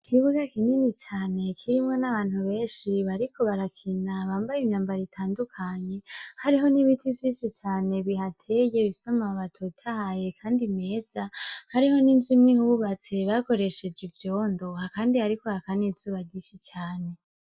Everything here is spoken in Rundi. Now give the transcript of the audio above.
Ikibuga kinini cane kirimwo n'abantu benshi bariko barakina bambaye imyambaro itandukanye, hariho n'ibiti vyinshi cane bihateye bifise amababi atotahaye kandi meza, hariho n'inzu imwe ihubatse bakoresheje ivyondo, kandi hariko haka n'izuba ryinshi cane.